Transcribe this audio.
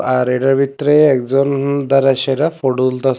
আর এটার ভিতরে একজন দাঁড়াই সেটার ফটো তুলতাসে।